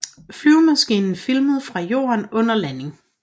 Flyvemaskinen filmet fra jorden under landingen